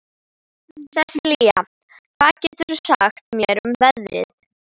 Sesilía, hvað geturðu sagt mér um veðrið?